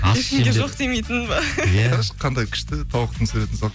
жоқ демейтін бе иә қарашы қандай күшті тауықтың суретін салып